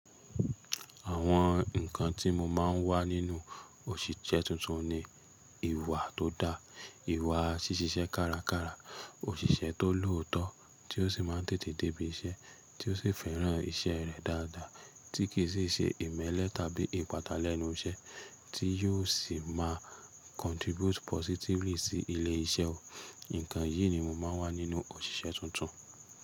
Àwọn nǹkan tí mo máa ń wá nínú òṣìṣẹ́ tuntun ni ìwà tó dáa, ìwà ṣíṣise kára kára, òṣìṣẹ́ tó lòótọ́ tí ó sì máa ń tètè débí iṣẹ́, tí ó sì fẹ́ràn iṣẹ́ rẹ̀ dáadáa, tí kì sí ṣe ìmẹ́lẹ̀ tàbí ìpàtà lẹ̀nú iṣẹ́, tí yóò sì máa contribute positively sí ilé iṣẹ́ o. Nǹkan yìí ni mò ń máa wá nínú òṣìṣẹ́ tuntun.